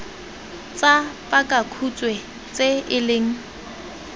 tsa pakakhutshwe tse e leng